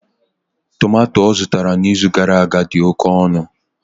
Tomato ọ zụtara n'izu gara aga dị oke ọnụ.